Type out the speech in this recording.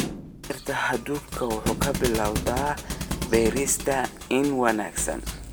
Beerta hadhuudhku waxay ka bilaabataa beerista iniin wanaagsan.